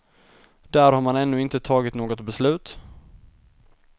Där har man ännu inte tagit något beslut.